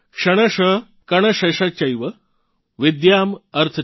क्षणश कणशश्चैव विद्याम् अर्थं च साधयेत् |